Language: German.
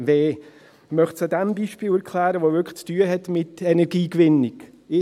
Ich möchte es an einem Beispiel erklären, das wirklich mit der Energiegewinnung zu tun hat.